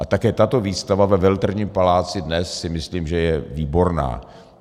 A také tato výstava ve Veletržním paláci dnes, si myslím, že je výborná.